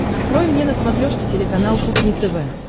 открой мне на смотрешке телеканал кухня тв